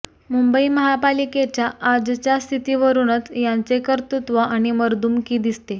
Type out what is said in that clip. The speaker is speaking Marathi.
मुंबई महापालिकेच्या आजच्या स्थितीवरूनच यांचे कर्तृत्व आणि मर्दुमकी दिसते